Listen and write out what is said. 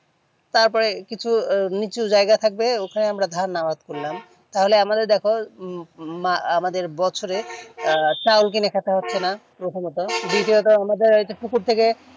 তারপরে কিছু নিচে যায়গা থাকবে ওখানে আমরা ধান আবেদ করলাম তাহলে আমরাও দেখো আমাদের বছরে চাউল কিনে খেতে হচ্ছে না প্রথমত দ্বিতীয়ত আমাদের ইটা পুকুর থেকে